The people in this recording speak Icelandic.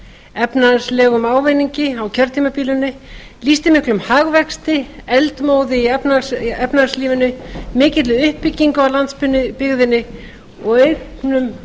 efnahagslegum ávinningi á kjörtímabilinu lýsti miklum hagvexti eldmóði í efnahagslífinu mikilli uppbyggingu á landsbyggðinni og auknum